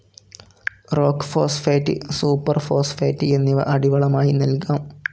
Rock phosphate, super phosphate എന്നിവ അടിവളമായി നൽകാം.